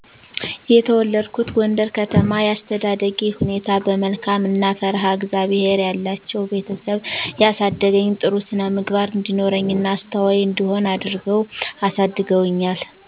የተወለድኩት ጎንደር ከተማ የአስተዳደጌ ሁኔታ በመልካም እና ፈርሃ እግዚአብሔር ያላቸዉ ቤተሰብ ያሳደገኝ ጥሩ ስነምግባር እንዲኖረኝ እና አስተዋይ እንድሆን አድርገዉ አሳድገዉኛ